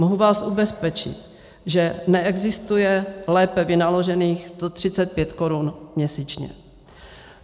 Mohu vás ubezpečit, že neexistuje lépe vynaložených 135 korun měsíčně.